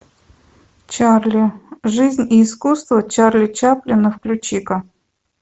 чарли жизнь и искусство чарли чаплина включи ка